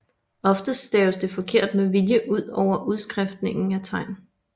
Ofte staves der forkert med vilje ud over udskiftningen af tegn